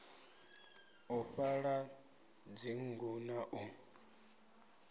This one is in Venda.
u fhaḓa dzinnḓu na u